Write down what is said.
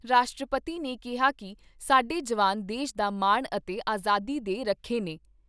ਰਾਸ਼ਟਰਪਤੀ ਨੇ ਕਿਹਾ ਕਿ ਸਾਡੇ ਜਵਾਨ ਦੇਸ਼ ਦਾ ਮਾਣ ਅਤੇ ਆਜ਼ਾਦੀ ਦੇ ਰਖੇ ਨੇ।